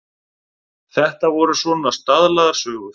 Þetta voru svona staðlaðar sögur.